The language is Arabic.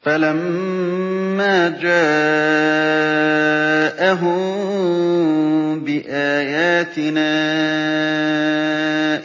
فَلَمَّا جَاءَهُم بِآيَاتِنَا